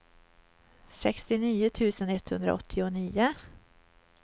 sextionio tusen etthundraåttionio